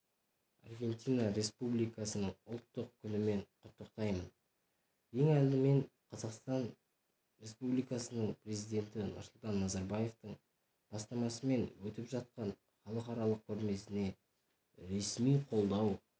аргентина республикасының ұлттық күнімен құттықтаймын ең алдымен қазақстан республикасының президенті нұрсұлтан назарбаевтың бастамасымен өтіп жатқан халықаралық көрмесіне ресми қолдау көрсеткені